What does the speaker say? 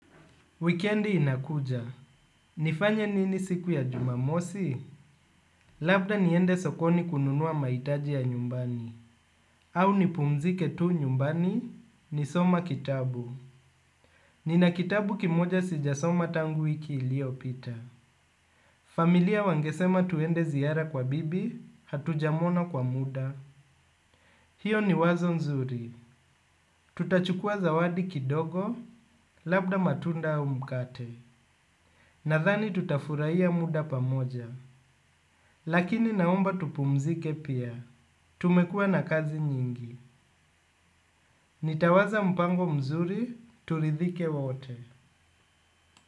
Wikendi inakuja. Nifanye nini siku ya jumamosi? Labda niende sokoni kununua mahitaji ya nyumbani. Au nipumzike tu nyumbani, nisome kitabu. Nina kitabu kimoja sijasoma tangu wiki iliyopita. Familia wangesema tuende ziara kwa bibi, hatujamwona kwa muda. Hiyo ni wazo nzuri. Tutachukua zawadi kidogo, labda matunda au mkate. Nadhani tutafurahia muda pamoja. Lakini naomba tupumzike pia, tumekuwa na kazi nyingi. Nitawaza mpango mzuri, turidhike wote.